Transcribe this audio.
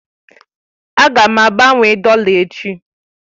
Aga m agbanwe dọla echi.